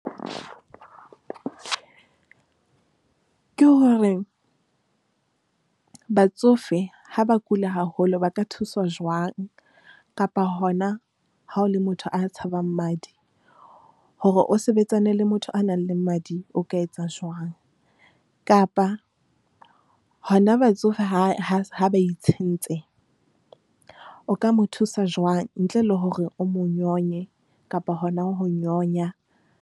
Ke hore batsofe ha ba kula haholo, ba ka thuswa jwang kapa hona ha o le motho a tshabang madi hore o sebetsane le motho a nang le madi, o ka etsa jwang. Kapa hona batsofe ha ha ha ba itshentse. O ka mo thusa jwang ntle le hore o mo nyonye kapa hona ho nyonya?